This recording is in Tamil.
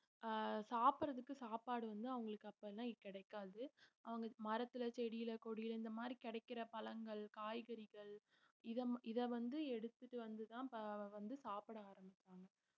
அஹ் சாப்பிடறதுக்கு சாப்பாடு வந்து அவங்களுக்கு அப்பல்லாம் கிடைக்காது அவங்க மரத்துல செடியில கொடியில இந்த மாதிரி கிடைக்கிற பழங்கள் காய்கறிகள் இத ம~ இத வந்து எடுத்துட்டு வந்துதான் வந்து சாப்பிட ஆரம்பிச்சாங்க